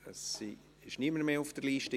Es ist niemand mehr auf der Liste.